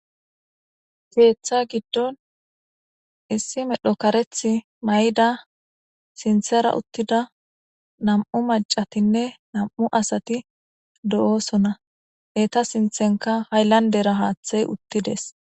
kKeththa giddon issi medho kareth may'ida sinthera uttida nam'u macatinne nam'u asati do'osona eta sinthenka hayllandera haaththey uttides.